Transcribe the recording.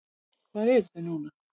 Hvar eru þau núna?